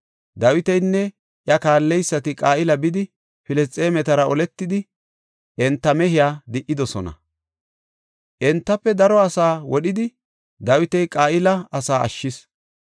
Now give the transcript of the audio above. Dawitinne iya kaalleysati Qa7ila bidi, Filisxeemetara oletidi enta mehiya di77idosona. Entafe daro asaa wodhidi, Dawiti Qa7ila asaa ashshis.